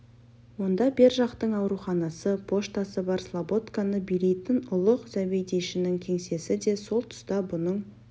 онда бер жақтың ауруханасы поштасы бар слободканы билейтін ұлық зәбедейшінің кеңсесі де сол тұста бұның